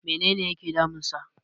menene yake damunsa?